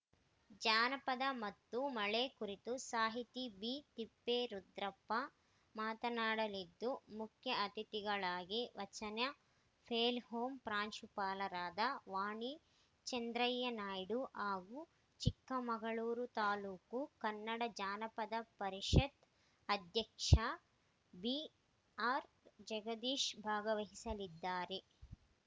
ಜಾನಪದ ಮತ್ತು ಮಳೆ ಕುರಿತು ಸಾಹಿತಿ ಬಿ ತಿಪ್ಪೇರುದ್ರಪ್ಪ ಮಾತನಾಡಲಿದ್ದು ಮುಖ್ಯ ಅತಿಥಿಗಳಾಗಿ ವಚನ ಪ್ಲೇ ಹೋಂ ಪ್ರಾಂಶುಪಾಲರಾದ ವಾಣಿ ಚಂದ್ರಯ್ಯನಾಯ್ಡು ಹಾಗೂ ಚಿಕ್ಕಮಗಳೂರು ತಾಲೂಕು ಕನ್ನಡ ಜಾನಪದ ಪರಿಷತ್‌ ಅಧ್ಯಕ್ಷ ಬಿ ಆರ್‌ಜಗದೀಶ್‌ ಭಾಗವಹಿಸಲಿದ್ದಾರೆ